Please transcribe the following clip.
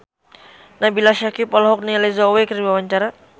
Nabila Syakieb olohok ningali Zhao Wei keur diwawancara